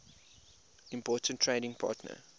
important trading partner